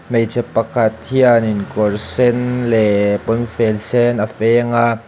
hmeichhe pakhat hianin kawr sen leh puanfen sen a feng a.